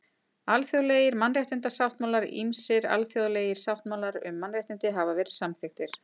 Alþjóðlegir mannréttindasáttmálar Ýmsir alþjóðlegir sáttmálar um mannréttindi hafa verið samþykktir.